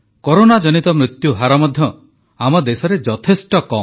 କରୋନାଜନିତ ମୃତ୍ୟୁହାର ମଧ୍ୟ ଆମ ଦେଶରେ ଯଥେଷ୍ଟ କମ୍